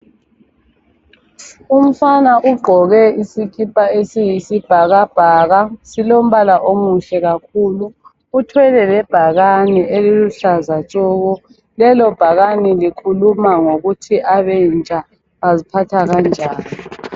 Umfana ugqoke isikipa esiyisibhakabhaka. Silombala omuhle kakhulu. Uthwele lebhakani eliluhlaza tshoko. Lelobhakani likhuluma ngokuthi abentsha baziphatha kanjan.